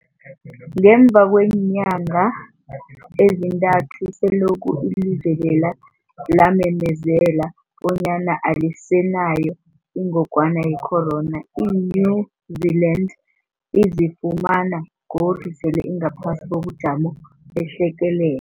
Ngemva kweenyanga ezintathu selokhu ilizwe lela lamemezela bonyana alisenayo ingogwana ye-corona, i-New-Zealand izifumana godu sele ingaphasi kobujamo behlekele